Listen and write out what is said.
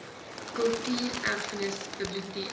kultuur erfenis biblioteek